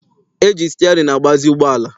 E ji sịtịarịnị agbazi ụgbọala.